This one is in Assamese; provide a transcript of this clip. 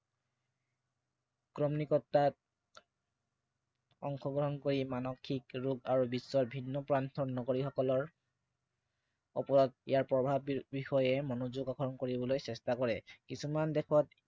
অংশগ্ৰহণ কৰি মানসিক ৰোগ আৰু বিশ্বৰ ভিন্ন প্ৰান্তৰ সকলৰ ওপৰত ইয়াৰ প্ৰভাৱ বিষয়ে গঠন কৰিবলৈ চেষ্টা কৰে। কিছুমান দেশত